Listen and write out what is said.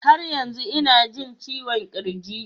Har yanzu ina jin ciwon kirji